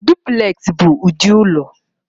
Dupleks bụ ụdị ụlọ